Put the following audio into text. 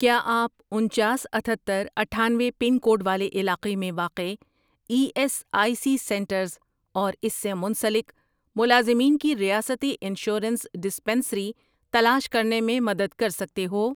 کیا آپ انچاس، اتھتر، اٹھانوے پن کوڈ والے علاقے میں واقع E S I C centres اور اس سے منسلک ملازمین کی ریاستی انشورنس ڈسپنسری تلاش کرنے میں مدد کر سکتے ہو؟